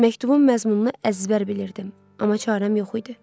Məktubun məzmununu əzbər bilirdim, amma çarəm yox idi.